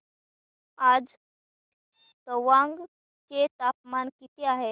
आज तवांग चे तापमान किती आहे